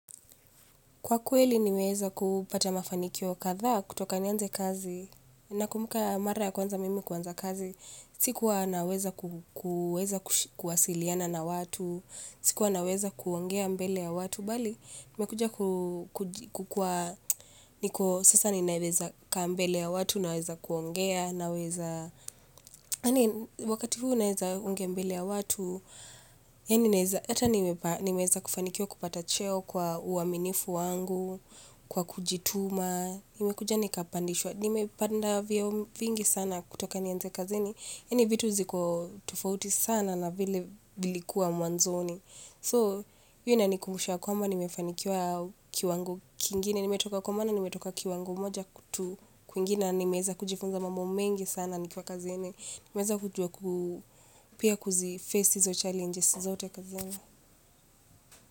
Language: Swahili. Kwa kweli nimeweza kupata mafanikio kadhaa, kutoka nianze kazi. Nakumbuka mara ya kwanza mimi kuanza kazi, sikuwa naweza kuwasiliana na watu. Sikuwa naweza kuongea mbele ya watu bali, nime kuja kukuwa niko sasa ninaweza kaa mbele ya watu naweza kuongea, naweza, wakati huu naweza ongea mbele ya watu, yaani naweza, ata nimeweza kufanikiwa kupata cheo kwa uaminifu wangu, kwa kujituma, nimekuja nikapandishwa, nimepanda vyeo vingi sana kutoka nianze kazini. Yaani vitu ziko tofauti sana na vile vilikuwa mwanzoni. So, hio inanikumbusha kwamba nimefanikiwa kiwango kingine. Nimetoka, kwa maana nimetoka kiwango moja tu kwingine, na nimeweza kujifunza mambo mengi sana nikiwa kazini. Nimeweza pia kuzi face hizo challenges zote kazini.